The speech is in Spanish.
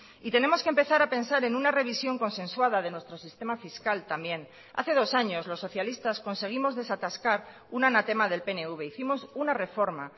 y tenemos que empezar a pensar en una revisión consensuada de nuestro sistema fiscal también hace dos años los socialistas conseguimos desatascar un anatema del pnv hicimos una reforma